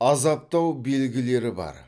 азаптау белгілері бар